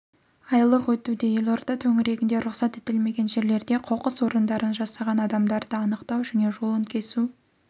айлық өтуде елорда төңірегінде рұқсат етілмеген жерлерде қоқыс орындарын жасаған адамдарды анықтау және жолын кесу